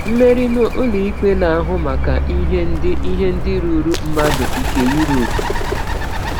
Mmeri n’Ụlọikpe Na-ahụ Maka Ihe Ndị Ihe Ndị Ruuru Mmadụ nke Europe.